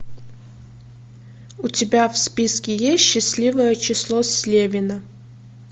у тебя в списке есть счастливое число слевина